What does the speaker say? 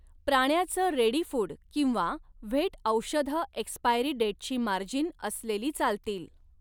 प्राण्याचं ready food किंवा vet औषधं expiry डेटची मार्जिन असलेली चालतील.